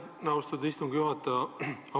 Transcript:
Aitäh, austatud istungi juhtaja!